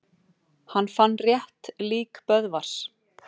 Hann fann rétt lík Böðvars.